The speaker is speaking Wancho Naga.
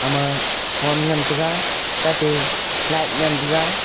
ama phone ngan taiga tate light ngan tega.